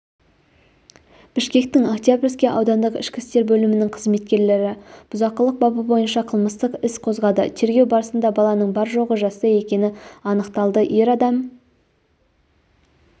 бішкектіңоктябрьский аудандық ішкі істер бөлімінің қызметкерлері бұзақылық бабы бойынша қылмыстық іс қозғады тергеу барысында баланың бар-жоғы жаста екені анықталды ер адам